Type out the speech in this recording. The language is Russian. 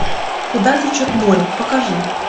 куда течет море покажи